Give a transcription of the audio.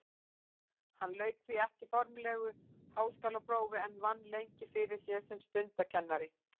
Hann lauk því ekki formlegu háskólaprófi en vann lengi fyrir sér sem stundakennari.